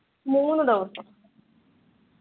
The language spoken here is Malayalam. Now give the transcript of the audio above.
മൂന്നു ദിവസം